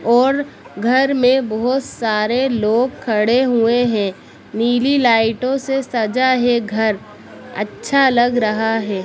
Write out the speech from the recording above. और घर में बहोत सारे लोग खड़े हुए है नीली लाइटों से सजा है घर अच्छा लग रहा है।